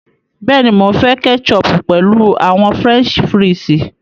Bẹ́ẹ̀ni, Mo ǹ fẹ kẹ́chọpù pẹ̀lú àwọn French fírìsí.